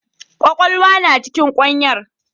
Kwakwalwa na cikin kwanyar.